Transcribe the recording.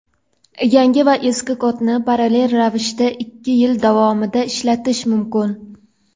yangi va eski kodni parallel ravishda ikki yil davomida ishlatish mumkin.